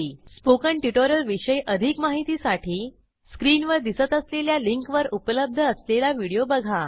spoken tutorial विषयी अधिक माहितीसाठी स्क्रीनवर दिसत असलेल्या लिंकवर उपलब्ध असलेला व्हिडिओ बघा